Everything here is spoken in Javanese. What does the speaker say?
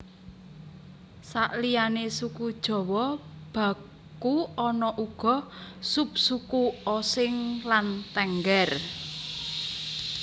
Saliyané suku Jawa baku ana uga subsuku Osing lan Tengger